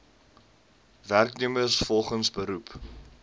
werknemers volgens beroep